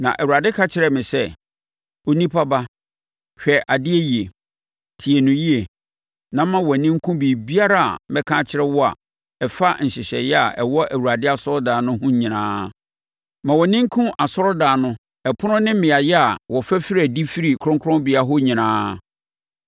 Na Awurade ka kyerɛɛ me sɛ, “Onipa ba, hwɛ adeɛ yie, tie no yie, na ma wʼani nku biribiara a mɛka akyerɛ wo a ɛfa nhyehyɛeɛ a ɛwɔ Awurade asɔredan no ho nyinaa. Ma wʼani nku asɔredan no ɛpono ne mmeaeɛ a wɔfa firi adi firi kronkronbea hɔ nyinaa.